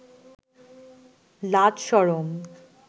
লাজ শরম